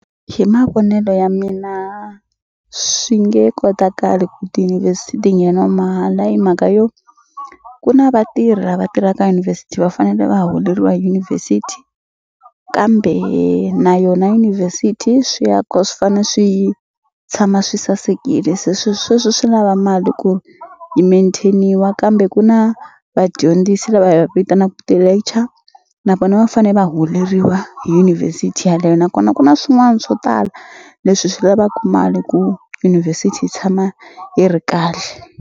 Hi mavonelo ya mina swi nge kotakali ku ti ngheniwa mahala hi mhaka yo ku na vatirhi lava tirhaka university va fanele va holeriwa hi university kambe na yona yunivhesithi swi ya ko swi fane swi tshama swi sasekile se swi sweswo swi lava mali ku yi maintain-iwa kambe ku na vadyondzisi lava hi va vitanaku ti-lecture na vona va fane va holeriwa hi university yeleyo nakona ku na swin'wani swo tala leswi swi lavaku mali ku university yi tshama yi ri kahle.